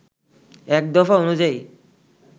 এক দফা অনুযায়ী